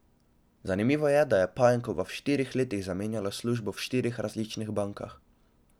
Zanimivo je, da je Pajenkova v štirih letih zamenjala službo v štirih različnih bankah.